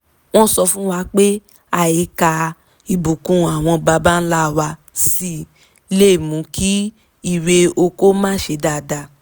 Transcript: wọ́n sọ fún wa pé àìka ìbùnkún àwọn baba ńlá wa sí lè mú kí irè oko má ṣe dáadáa